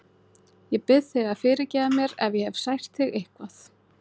Ég bið þig að fyrirgefa mér ef ég hef sært þig eitthvað.